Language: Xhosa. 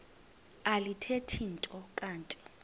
alithethi nto kanti